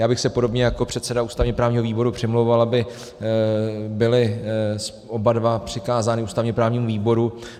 Já bych se podobně jako předseda ústavně-právního výboru přimlouval, aby byly oba dva přikázány ústavně-právnímu výboru.